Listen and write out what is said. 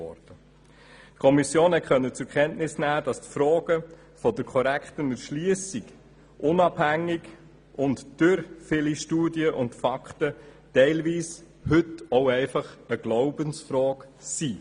Die Kommission konnte zur Kenntnis nehmen, dass die Frage der korrekten Erschliessung unabhängig der vielen Studien und Fakten heute teilweise eine Glaubensfrage ist.